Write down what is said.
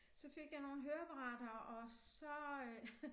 Så fik jeg nogle høreapparater og så øh